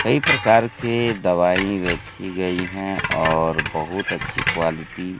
कई प्रकार के दवाई रखी गई हैं और बहुत अच्छी क्वालिटी --